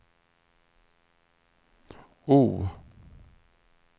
O